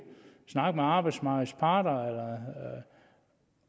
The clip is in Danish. snakke med arbejdsmarkedets parter